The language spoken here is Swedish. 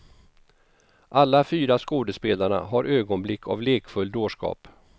Alla fyra skådespelarna har ögonblick av lekfull dårskap.